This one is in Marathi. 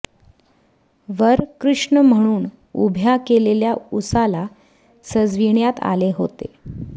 वर कृष्ण म्हणून उभ्या केलेल्या उसाला सजविण्यात आले होते